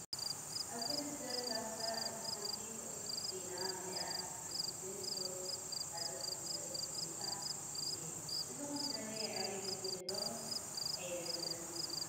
ኣብ ክልተ ካሳ እታ ሓንቲ ቕፅፅ ኢላ መሊኣ እታ ሓንቲ ግን ቑሩብ ዝሓዘት ኮሚደረ ተቐሚጡ እንሄ ፡ እዚ ኾሚደረ የዕርዩ በሲሉ'ዶ ስ ኣይበሰለን ይበሃል ?